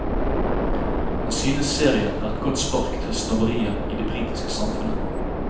Han synes serien er et godt spark til snobberiet i det britiske samfunnet.